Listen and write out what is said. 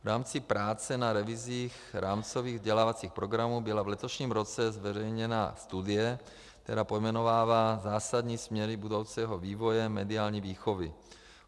V rámci práce na revizích rámcových vzdělávacích programů byla v letošním roce zveřejněna studie, která pojmenovává zásadní směry budoucího vývoje mediální výchovy.